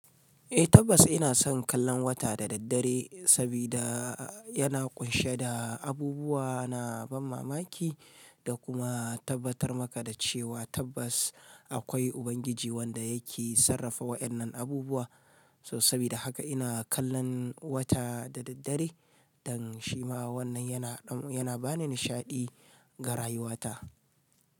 Eh tabbas ina son kallon wata da daddare sabida yana kunshe da abubuwa na ban mamaki da kuma tabbatar maka da cewa tabbas akwai Ubangiji wanda yake sarrafa waɗannan abubuwa. So sabida haka ina kallon wata da daddare dan shi ma wannan yana yana bani nishaɗi ga rayuwata.